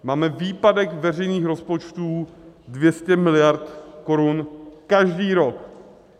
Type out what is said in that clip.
Máme výpadek veřejných rozpočtů 200 miliard korun každý rok.